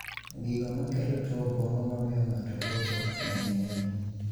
Gigo makelo tuo obwongo mamiyo ng'ato podho ng'eny ahinya